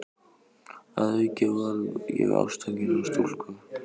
Að auki varð ég ástfanginn af stúlku.